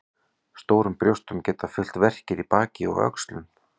Stórum brjóstum geta fylgt verkir í baki og öxlum.